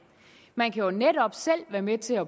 man kan jo netop selv være med til at